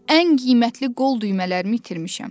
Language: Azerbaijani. Ən qiymətli qol düymələrimi itirmişəm.